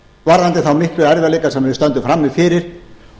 varðandi þá miklu erfiðleika sem við stöndum frammi fyrir